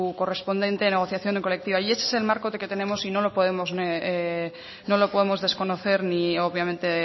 correspondiente negociación colectiva y ese es el marco que tenemos y no lo podemos desconocer ni obviamente